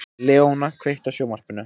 Leóna, kveiktu á sjónvarpinu.